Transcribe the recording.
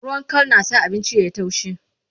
ruwan Kal na sa abinci yayi taushi